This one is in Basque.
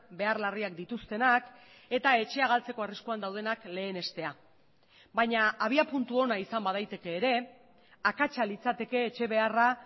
behar larriak dituztenak eta etxea galtzeko arriskuan daudenak lehenestea baina abiapuntu ona izan badaiteke ere akatsa litzateke etxe beharra